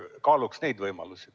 Kaaluks neid võimalusi.